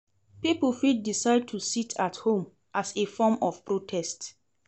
Pipo fit decide to sit at home as a form of protest